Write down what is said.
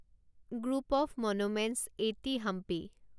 group of monuments at Hampi